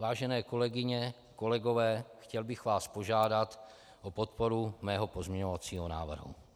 Vážené kolegyně, kolegové, chtěl bych vás požádat o podporu mého pozměňovacího návrhu.